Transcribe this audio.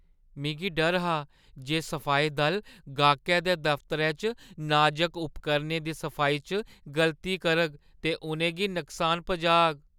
मिगी डर हा जे सफाई दल गाह्कै दे दफ्तरै च नाजक उपकरणें दी सफाई च गलती करग ते उʼनें गी नुकसान पजाग।